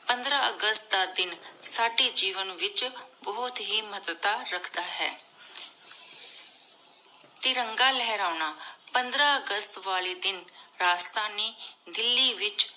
ਪੰਦ੍ਰ ਅਗਸਤ ਦਾ ਦਿਨ ਸਾਡੀ ਜੇਵੇਂ ਵਿਚ ਬੁਹਤ ਹੇ ਮਹਤਵ ਰਖਦਾ ਹੈ ਤਿਰੰਗਾ ਲੇਹ੍ਰਾਨਾ ਪੰਦ੍ਰ ਅਗਸਤ ਵਾਲੀ ਦਿਨ ਰਾਸ੍ਤਾਨੀ ਦਿੱਲੀ ਵਿਚ